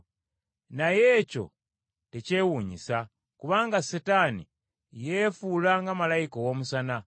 Naye ekyo tekyewuunyisa, kubanga Setaani yeefuula nga malayika ow’omusana.